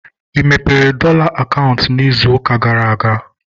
Ị mepere dọla akaụntụ ịzụ ụka gara aga?